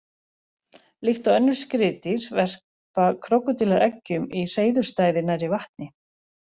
Líkt og önnur skriðdýr verpa krókódílar eggjum í hreiðurstæði nærri vatni.